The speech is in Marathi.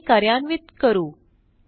क्वेरी कार्यान्वित करू